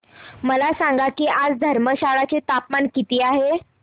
मला सांगा की आज धर्मशाला चे तापमान किती आहे